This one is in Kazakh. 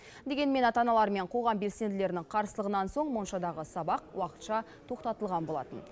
дегенмен ата аналар мен қоғам белсенділерінің қарсылығынан соң моншадағы сабақ уақытша тоқтатылған болатын